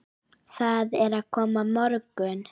Það er að koma morgunn